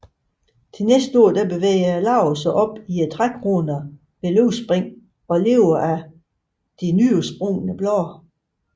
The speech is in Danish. Næste år bevæger larverne sig op i trækronerne ved løvspring og lever af de nyudsprungne blade